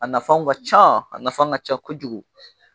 A nafanw ka ca, a nafan ka ca kojugu.